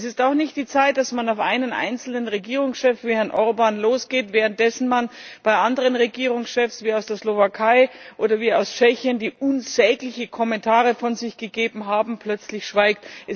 Es ist auch nicht die Zeit, dass man auf einen einzelnen Regierungschef wie Herrn Orbán losgeht, währenddessen man bei anderen Regierungschefs, wie aus der Slowakei oder aus Tschechien, die unsägliche Kommentare von sich gegeben haben, plötzlich schweigt.